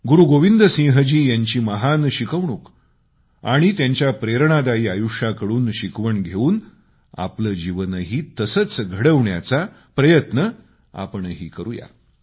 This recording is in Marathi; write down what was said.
गुरूगोविंद सिंहजी यांची महान शिकवण आणि त्यांच्या प्रेरणादायी जीवनानुसार आचरण करण्याचा आपणही प्रयत्न करूया